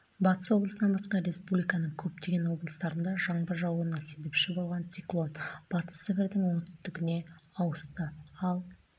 батыс облысынан басқа республиканың көптеген облыстарында жаңбыр жаууына себепші болған циклон батыс сібірдің оңтүстігіне ауысты ал